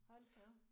Hold da op